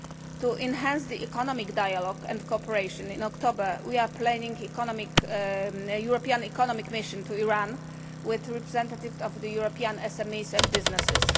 To enhance the economic dialogue and cooperation, in October we are planning a European economic mission to Iran with representatives of European SMEs and businesses.